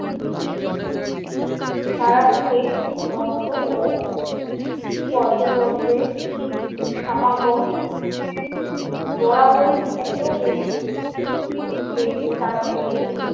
তারাপীঠে ভক্ত ও পর্যটকদের সমাগম বরাবরই এত বেশি যে চারদিকে।